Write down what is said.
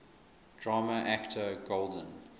drama actor golden